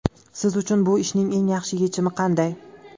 Siz uchun bu ishning eng yaxshi yechimi qanday?